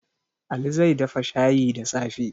Ali zai dafa shayi da safe.